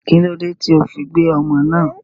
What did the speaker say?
kílódé tí o fi gbé ọmọ náà?